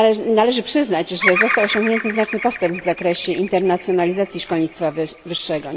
Należy przyznać, że został osiągnięty znaczny postęp w zakresie internacjonalizacji szkolnictwa wyższego.